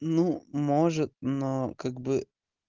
ну может но как бы